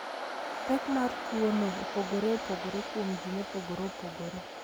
Pek mar tuwono opogore opogore kuom ji mopogore opogore.